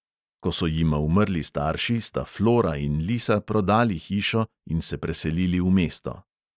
Ko so jima umrli starši, sta flora in lisa prodali hišo in se preselili v mesto.